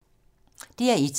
DR1